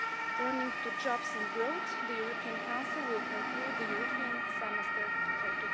Turning to jobs and growth, the European Council will conclude the European Semester for